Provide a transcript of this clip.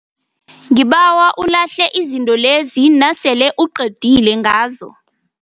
Ngibawa ulahle izinto lezi nasele uqedile ngazo.